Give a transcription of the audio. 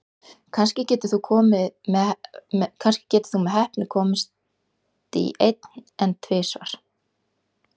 Kannski getur þú með heppni komist í einn, en tvisvar?